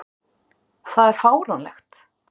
Það er fáránlegt.